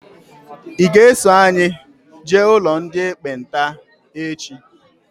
I ga -eso anyị jee n'ụlọ ndị ekpenta echi?